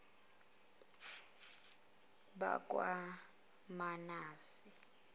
bakwamanase